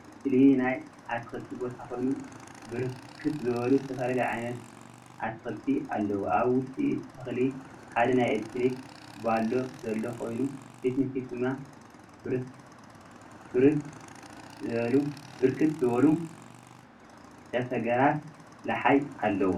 እዚ ምስሊ ናይ አትክልቲ ቦታ ኮይኑ ብርክት ዝበሉ ዝተፈላለዩ ዓይነት አትክልቲ አለዉ፡፡ አብ ውሽጢ እቲ ተክሊ ሓደ ናይ ኤለክትሪክ ባሎ ዘሎ ኮይኑ ፊት ንፊት ድማ ብርክት ዝበሉ ጨፍጋራት ለሓይ እለዉ፡፡